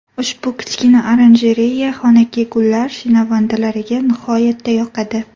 Ushbu kichkina oranjereya xonaki gullar shinavandalariga nihoyatda yoqadi .